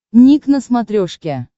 ник на смотрешке